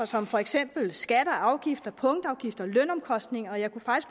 som for eksempel skatter og afgifter punktafgifter lønomkostninger og jeg kunne